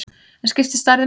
En skiptir stærðin máli?